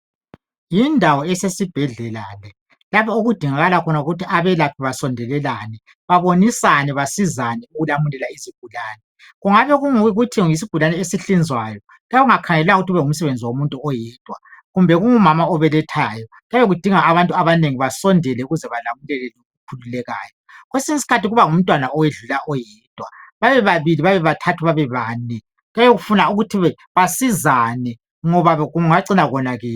yindawo esesibhedlela le lapho okudingakala khona ukuthi abelaphi basondelelane babonisane basizane ukulamulela izigulane kungabe kuyikuthi yisigulane esihlinzwayo kuyabe kungakhangelelwanga ukuthi kube ngumsebenzi womuntu oyedwa kube ngumama obelethayo okhululekayo kwesinye isikhathi kuba ngumntwana owedlula oyedwa babebabili babebathathu babebane kuyabe kufuna ukuthi basizane ngoba kungacina konakele